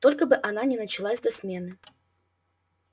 только бы она не началась до смены